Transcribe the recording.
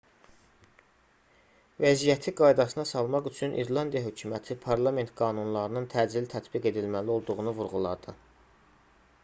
vəziyyəti qaydasına salmaq üçün i̇rlandiya hökuməti parlament qanunlarının təcili tətbiq edilməli olduğunu vurğuladı